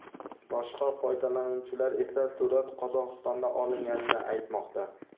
Boshqa foydalanuvchilar esa surat Qozog‘istonda olinganini aytmoqda.